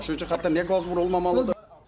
Başlayıcı xətdə niyə qaz vurulmamalıdır?